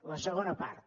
la segona part